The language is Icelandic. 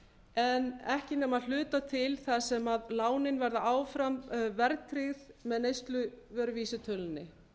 en ekki nema að hluta til þar sem lánin verða áfram verðtryggð með neysluvöruvísitölunni